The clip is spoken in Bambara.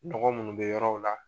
Dɔgɔ minnu bɛ yɔrɔw la